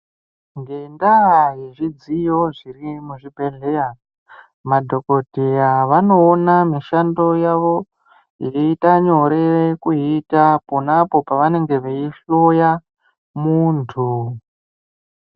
Ngenda ye zvidziyo zviri mu zvibhedhleya madhokodheya vano ona mishando yavo ichi ita nyore kuyi ita ponapo pa vanenge vei hloya muntu.